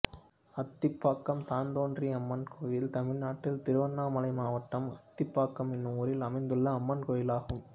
அத்திப்பாக்கம் தான்தோன்றியம்மன் கோயில் தமிழ்நாட்டில் திருவண்ணாமலை மாவட்டம் அத்திப்பாக்கம் என்னும் ஊரில் அமைந்துள்ள அம்மன் கோயிலாகும்